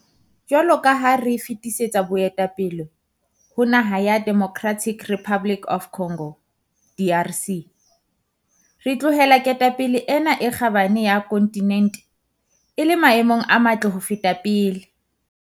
Jwalo ka ha re fetisetsa boetapele ho naha ya Democratic Republic of Congo DRC, re tlohela ketapele ena e kgabane ya kontinente e le maemong a matle ho feta pele.